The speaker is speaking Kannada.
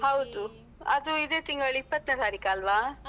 ಹೌದು, ಅದು ಇದೇ ತಿಂಗಳು ಇಪ್ಪತ್ನೆ ತಾರೀಖ್ ಅಲ್ವಾ?